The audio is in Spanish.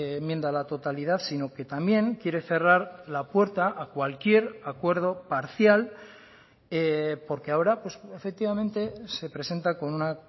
enmienda a la totalidad sino que también quiere cerrar la puerta a cualquier acuerdo parcial porque ahora efectivamente se presenta con una